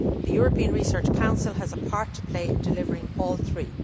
The European Research Council has a part to play in delivering all three.